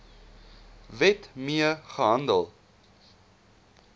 wet mee gehandel